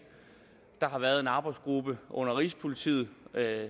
der har været en arbejdsgruppe under rigspolitiet